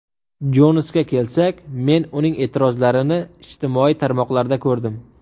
Jonsga kelsak, men uning e’tirozlarini ijtimoiy tarmoqlarda ko‘rdim.